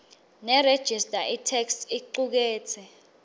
nerejista itheksthi icuketse